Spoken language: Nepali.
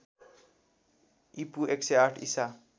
ईपू ९०८ ईसा